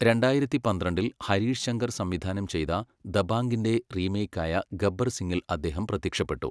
രണ്ടായിരത്തി പന്ത്രണ്ടിൽ ഹരീഷ് ശങ്കർ സംവിധാനം ചെയ്ത ദബാംഗിന്റെ റീമേക്കായ ഗബ്ബർ സിങ്ങിൽ അദ്ദേഹം പ്രത്യക്ഷപ്പെട്ടു.